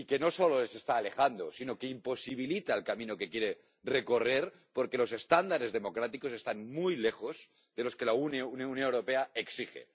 Y que no solo les está alejando, sino que imposibilita el camino que quieren recorrer, porque los estándares democráticos están muy lejos de los que la Unión Europea exige.